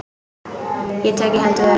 Ég tek í hendur þeirra.